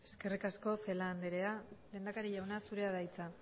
eskerrik asko celaá andrea lehendakari jauna zurea da hitza